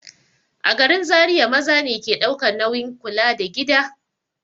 A garin Zariya maza ne ke ɗaukan nauyin kula da gida.